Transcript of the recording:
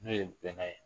N'o ye bɛnkan ye